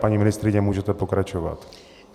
Paní ministryně, můžete pokračovat.